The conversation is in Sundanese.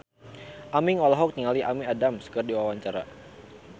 Aming olohok ningali Amy Adams keur diwawancara